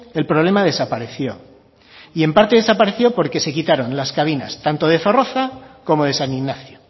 el problema desapareció y en parte desapareció porque se quitaron las cabinas tanto de zorroza como de san ignacio